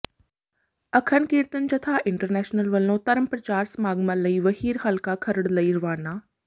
ਅਖੰਡ Kirtani Jatha international ਵੱਲੋਂ ਧਰਮ ਪ੍ਰਚਾਰ ਸਮਾਗਮਾਂ ਲਈ ਵਹੀਰ ਹਲਕਾ ਖਰੜ ਲਈ ਰਵਾਨਾ